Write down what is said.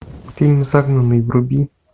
фильм загнанный вруби